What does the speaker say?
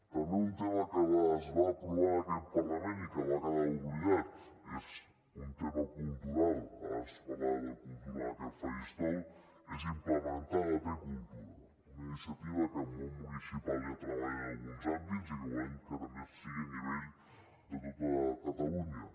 també un tema que es va aprovar en aquest parlament i que va quedar oblidat és un tema cultural abans es parlava de cultura en aquest faristol és implementar la t cultura una iniciativa que el món municipal ja treballa en alguns àmbits i que volem que també sigui a nivell de tota catalunya